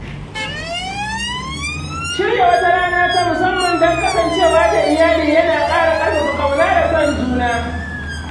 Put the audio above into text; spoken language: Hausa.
Shirya wata rana ta musamman don kasancewa da iyali yana ƙara ƙarfafa ƙauna da son juna